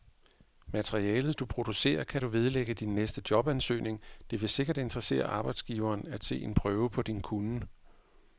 Materialet, du producerer, kan du vedlægge din næste jobansøgning, det vil sikkert interessere arbejdsgiveren at se en prøve på din kunnen.